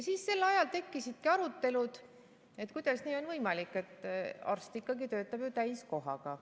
Sel ajal tekkisidki arutelud, kuidas nii on võimalik, sest arst töötab ju ikkagi täiskohaga.